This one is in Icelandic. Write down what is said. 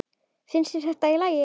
Finnst þér þetta í lagi?